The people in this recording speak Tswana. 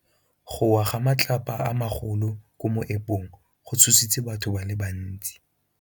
Go wa ga matlapa a magolo ko moepong go tshositse batho ba le bantsi.